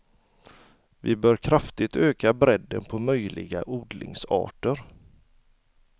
Vi bör kraftigt öka bredden på möjliga odlingsarter.